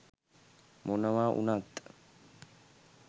මොනවා උනත්